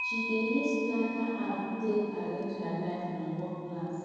she dey use planner app take arrange her life and work plans